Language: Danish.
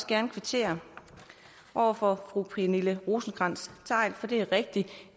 gerne kvittere over for fru pernille rosenkrantz theil for det er rigtigt at